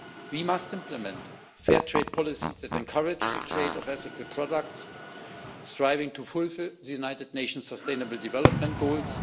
We must implement fair trade policies that encourage the trade of ethical products, striving to fulfil the United Nations sustainable development goals.